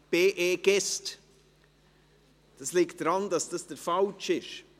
Dies liegt daran, dass dies der falsche ist.